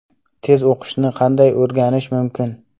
Tez o‘qishni qanday o‘rganish mumkin?